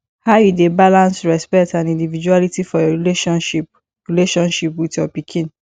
how you dey balance respect and individuality for your relationship relationship with your pikin